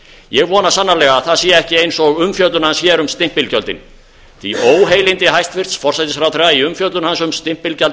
ég vona sannarlega að það sé ekki eins og umfjöllun hans um stimpilgjöldin því óheilindi hæstvirts forsætisráðherra í umfjöllun hans um